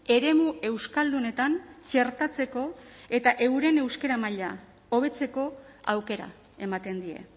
eremu euskaldunetan txertatzeko eta euren euskara maila hobetzeko aukera ematen die